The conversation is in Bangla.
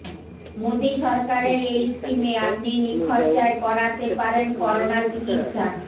মোদি সরকারের এই স্কিমে আপনি নিখরচায় করাতে পারেন করোনা চিকিৎসা